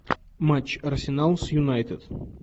матч арсенал с юнайтед